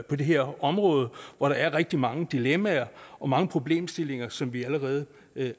på det her område hvor der er rigtig mange dilemmaer og mange problemstillinger som vi allerede